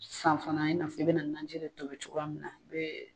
Sisan fana i n'a fɔ i bi na nanji de tobi cogoya min na n'o ye